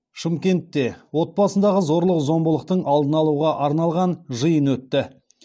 шымкентте отбасындағы зорлық зомбылықтың алдын алуға арналған жиын өтті